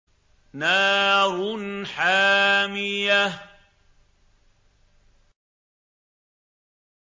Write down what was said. نَارٌ حَامِيَةٌ